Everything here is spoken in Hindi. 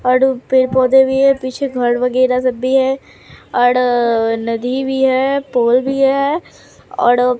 औड़ पेड़ पौधे भी है पीछे घर वगैरह सब भी है औड़ अह नदी भी है पोल भी है औड़ --